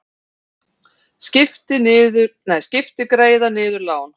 Skipti greiða niður lán